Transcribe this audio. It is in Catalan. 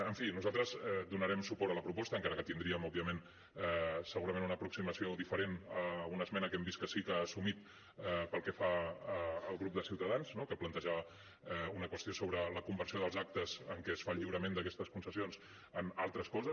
en fi nosaltres donarem suport a la proposta encara que tindríem òbviament segurament una aproximació diferent a una esmena que hem vist que sí que ha assumit del grup de ciutadans no que planteja una qüestió sobre la conversió dels actes en què es fa el lliurament d’aquestes concessions en altres coses